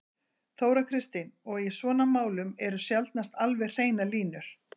Þóra Kristín: Og í svona málum eru sjaldnast alveg hreinar línur?